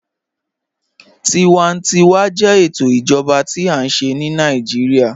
Tíwàntíwà jẹ ètò ìjọba tí a nṣẹ̀ ni Naijiria.